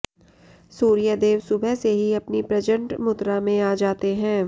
सूर्यदेव सुबह से ही अपनी प्रचंड मुद्रा में आ जाते हैं